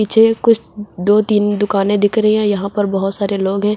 मुझे कुछ दो तीन दुकाने दिख रही हैं यहां पर बहुत सारे लोग हैं।